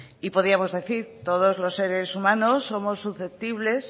y podíamos decir todos los seres humanos somos susceptibles